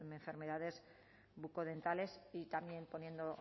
enfermedades bucodentales y también poniendo